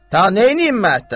Ta neyniyim mətəlsən?